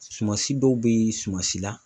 Sumasi dɔw bɛ suman si la